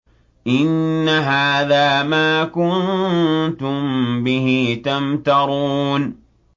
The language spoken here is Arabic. إِنَّ هَٰذَا مَا كُنتُم بِهِ تَمْتَرُونَ